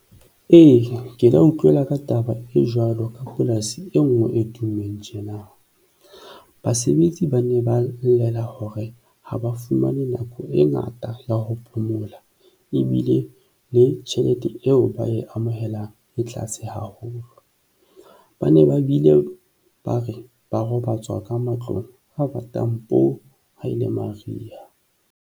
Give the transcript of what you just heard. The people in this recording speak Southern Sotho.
Ee, ke la utlwela ka taba e jwalo ka polasi e nngwe e tummeng tjena. Basebetsi ba ne ba llela hore ha ba fumane nako e ngata ya ho phomola ebile le tjhelete eo ba e amohelang e tlaase haholo. Ba ne ba bile ba re ba robatswa ka matlong a batang poo! haele mariha.